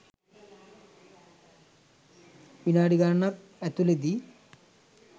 විනාඩි ගණනක් ඇතුළතදී